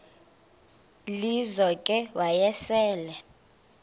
lizo ke wayesel